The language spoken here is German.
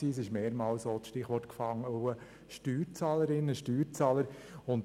Es ist mehrmals das Stichwort «Steuerzahlerinnen und Steuerzahler» gefallen.